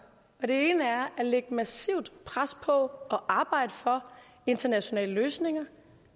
den ene er at lægge massivt pres på at arbejde for internationale løsninger